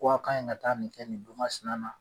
Ko a' ka ɲi ŋa taa nin kɛ nin don masina na